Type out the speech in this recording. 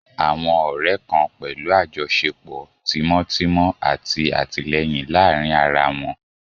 Àwọn ọrẹ kan pẹlu ajọṣepọ timọtimọ ati atilẹyin laarin ara wọn.